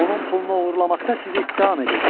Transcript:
Onun pulunu oğurlamaqda sizi ittiham edirdi.